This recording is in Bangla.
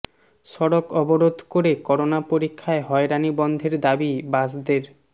সড়ক অবরোধ করে করোনা পরীক্ষায় হয়রানি বন্ধের দাবী বাসদের